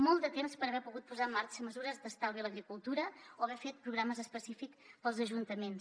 molt de temps per haver pogut posar en marxa mesures d’estalvi a l’agricultura o haver fet programes específics per als ajuntaments